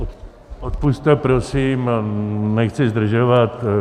Odpusťte prosím, nechci zdržovat.